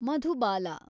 Madhubala